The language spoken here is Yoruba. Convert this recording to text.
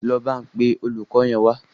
Lọ pe olùkọ yín wa